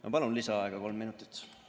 Ma palun lisaaega kolm minutit!